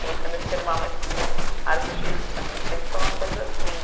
Comecei a me firmar mais como artista, mas sempre foi uma coisa assim,